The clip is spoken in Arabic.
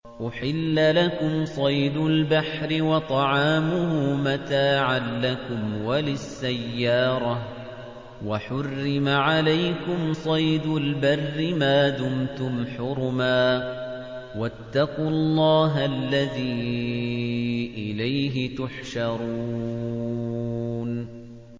أُحِلَّ لَكُمْ صَيْدُ الْبَحْرِ وَطَعَامُهُ مَتَاعًا لَّكُمْ وَلِلسَّيَّارَةِ ۖ وَحُرِّمَ عَلَيْكُمْ صَيْدُ الْبَرِّ مَا دُمْتُمْ حُرُمًا ۗ وَاتَّقُوا اللَّهَ الَّذِي إِلَيْهِ تُحْشَرُونَ